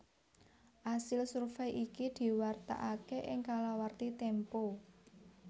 Asil survèy iki diwartakaké ing kalawarti Tempo